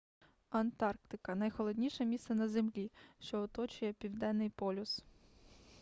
антарктика найхолодніше місце на землі що оточує південний полюс